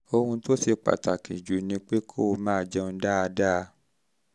ohun tó ṣe pàtàkì jù ni pé kó máa jẹun dáadáa